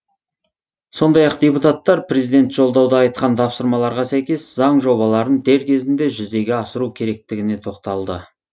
сондай ақ депутаттар президент жолдауда айтқан тапсырмаларға сәйкес заң жобаларын дер кезінде жүзеге асыру керектігіне тоқталды